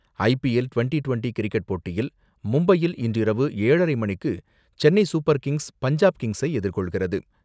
ஐ P L twenty twenty cricket போட்டியில் மும்பையில் இன்ற இரவு ஏழரை மணிக்கு சென்னை சூப்பர் கிங்ஸ் பஞ்சாப் கிங்ஸை எதிர்கொள்கிறது.